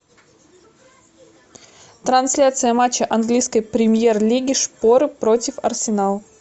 трансляция матча английской премьер лиги шпоры против арсенала